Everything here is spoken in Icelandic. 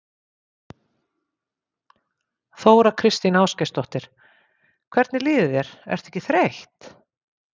Þóra Kristín Ásgeirsdóttir: Hvernig líður þér, ertu ekki þreytt?